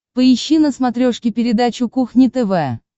поищи на смотрешке передачу кухня тв